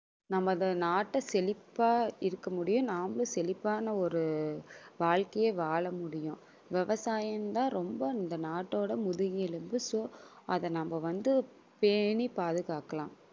நமது நாட்டை செழிப்பா இருக்க முடியும் நாமளும் செழிப்பான ஒரு வாழ்க்கையை வாழ முடியும். விவசாயம் தான் ரொம்ப இந்த நாட்டோட முதுகெலும்பு. so நம்ம அதவந்து பேணி பாதுகாக்கலாம்